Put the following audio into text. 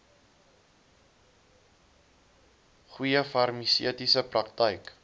goeie farmaseutiese praktyk